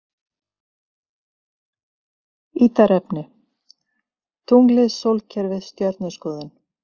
Ítarefni: Tunglið Sólkerfið Stjörnuskoðun.